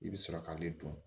I bɛ sɔrɔ k'ale dun